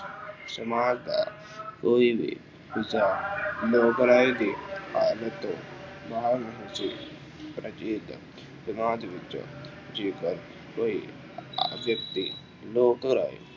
ਸਮਾਜ ਦਾ ਕੋਈ ਵੀ ਹਿੱਸਾ ਲੋਕ ਰਾਏ ਦੇ ਆਦਤ ਨਾਲ ਵਿੱਚ ਅਤੇ ਸਮਾਜ ਵਿੱਚ ਜੇਕਰ ਕੋਈ ਵਿਅਕਤੀ ਲੋਕ ਰਾਏ